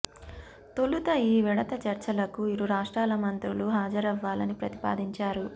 తొలుత ఈ విడత చర్చలకు ఇరు రాష్ట్రాల మంత్రులు హాజరవ్వాలని ప్రతిపాదించారు